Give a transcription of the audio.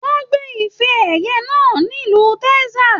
Wọn gbé ifè ẹyẹ náà nílu Texas.